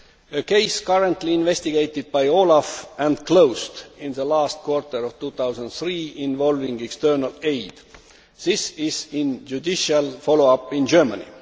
A case currently investigated by OLAF and closed in the last quarter of 2003, involving external aid, is in judicial follow up in Germany.